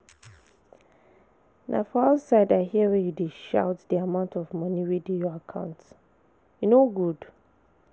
Na for outside I hear wey you dey shout the amount of money wey dey your account. E no good.